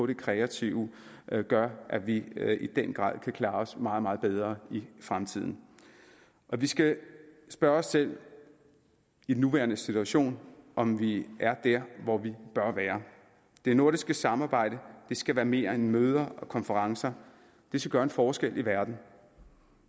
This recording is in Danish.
det kreative gøre at vi i den grad kan klare os meget meget bedre i fremtiden vi skal spørge os selv i den nuværende situation om vi er der hvor vi bør være det nordiske samarbejde skal være mere end møder og konferencer det skal gøre en forskel i verden